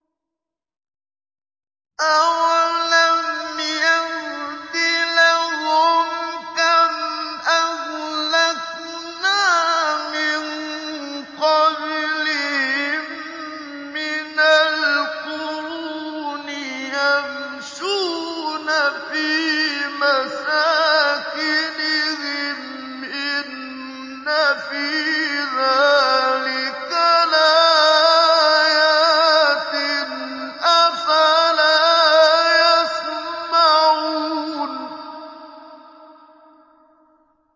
أَوَلَمْ يَهْدِ لَهُمْ كَمْ أَهْلَكْنَا مِن قَبْلِهِم مِّنَ الْقُرُونِ يَمْشُونَ فِي مَسَاكِنِهِمْ ۚ إِنَّ فِي ذَٰلِكَ لَآيَاتٍ ۖ أَفَلَا يَسْمَعُونَ